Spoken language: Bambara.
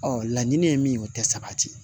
Ɔ laɲini ye min ye o tɛ sabati